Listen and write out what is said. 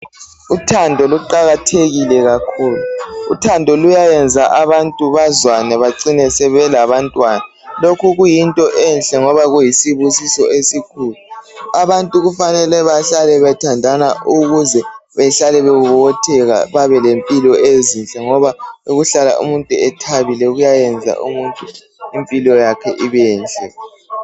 Uthando luqakathekile kakhulu. Uthando luyayenza abantu bazwane bacine sebelabantwana. Lokhu kuyinto enhle ngoba kuyisibusiso esikhulu. Abantu kufanele bahlale bethandana ukuze bahlale bebobotheka babe lempilo ezinhle. Ngoba ukuhlala umuntu ethabile ukuyenza impilo yakhe ibenhle.